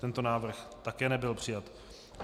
Tento návrh také nebyl přijat.